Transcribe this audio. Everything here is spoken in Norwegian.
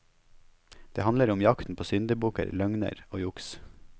Det handler om jakten på syndebukker, løgner og juks.